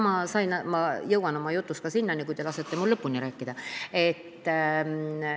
Ma jõuan oma jutus ka selleni, kui te lasete mul lõpuni rääkida.